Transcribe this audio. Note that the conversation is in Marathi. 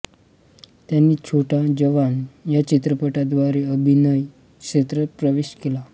त्यांनी छोटा जवान या चित्रपटाद्वारे अभिनय क्षेत्रात प्रवेश केला